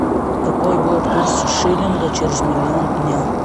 какой будет курс шиллинга через миллион дня